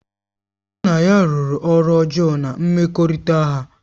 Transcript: Nna ya rụrụ ọrụ ọjọọ na mmekọrịta ha